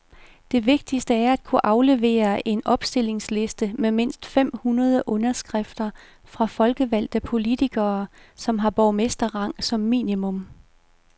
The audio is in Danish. Det vigtigste er at kunne aflevere en opstillingsliste med mindst fem hundrede underskrifter fra folkevalgte politikere, som har borgmesterrang som minimum.